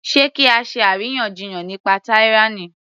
Sé kí á ṣe àríyànjiyàn nípa tyranny